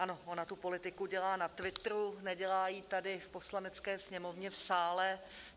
Ano, ona tu politiku dělá na Twitteru, nedělá ji tady v Poslanecké sněmovně, v sále.